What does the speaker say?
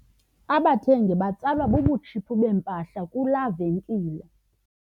Abathengi batsalwa bubutshiphu bempahla kulaa venkile.